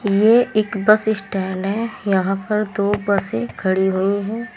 यह एक bus stand है यहां पर दो बसे खड़ी हुई है।